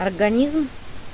организм